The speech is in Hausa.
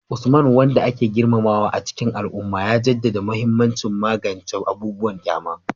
Usman, wanda ake girmamawa a cikin al'umma, ya jaddada mahimmancin magance abubuwan kyama